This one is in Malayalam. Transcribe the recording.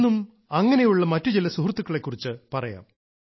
ഇന്നും അങ്ങനെയുള്ള മറ്റു ചില സുഹൃത്തുക്കളെ കുറിച്ച് പറയാം